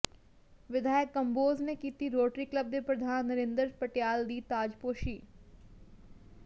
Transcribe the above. ਵਿਧਾਇਕ ਕੰਬੋਜ਼ ਨੇ ਕੀਤੀ ਰੋਟਰੀ ਕਲੱਬ ਦੇ ਪ੍ਰਧਾਨ ਨਰਿੰਦਰ ਪਟਿਆਲ ਦੀ ਤਾਜ਼ਪੋਸ਼ੀ